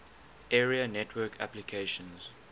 area network applications